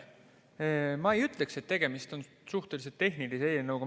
Ma ei ütleks, et tegemist on suhteliselt tehnilise eelnõuga.